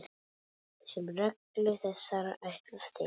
sem reglur þessar ætlast til.